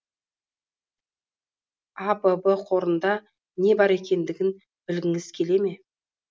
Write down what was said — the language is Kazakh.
абб қорында не бар екендігін білгіңіз келе ме